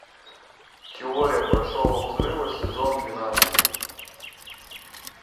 теория большого взрыва сезон двенадцать